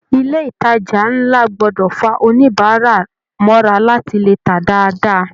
Ilé ìtàjà nlá gbọdọ fà oníbárà mọra láti lè tá dáadáa.